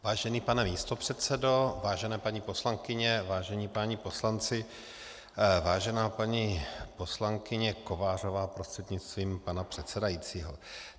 Vážený pane místopředsedo, vážené paní poslankyně, vážení páni poslanci, vážená paní poslankyně Kovářová prostřednictvím pana předsedajícího.